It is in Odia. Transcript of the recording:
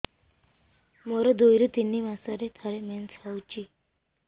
ମୋର ଦୁଇରୁ ତିନି ମାସରେ ଥରେ ମେନ୍ସ ହଉଚି